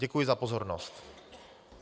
Děkuji za pozornost.